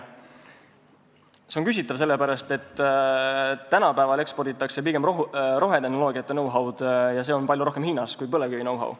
See on küsitav, sest tänapäeval eksporditakse pigem rohetehnoloogiate know-how'd, see on palju rohkem hinnas kui põlevkivi know-how.